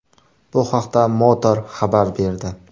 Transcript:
Bu haqda Motor xabar berdi .